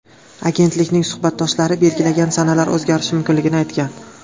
Agentlikning suhbatdoshlari belgilagan sanalar o‘zgarishi mumkinligini aytgan.